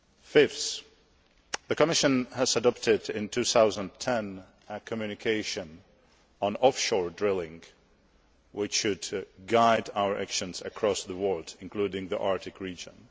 Fifthly, the Commission adopted in 2010 a communication on offshore drilling, which should guide our actions across the world, including the Arctic region.